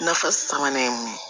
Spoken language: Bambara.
Na fɔ sabanan ye mun ye